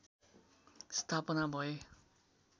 स्थापना भए